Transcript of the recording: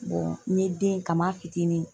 n ye den kam'a fitinin